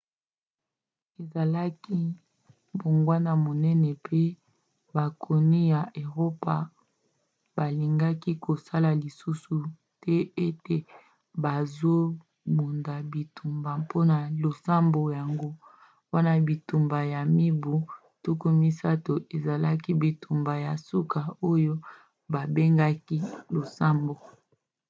ezalaki mbongwana monene mpo bakonzi ya eropa balingaki kokosa lisusu te ete bazobunda bitumba mpona losambo. yango wana bitumba ya mibu tuku misato ezalaki bitumba ya suka oyo babengaki ya losambo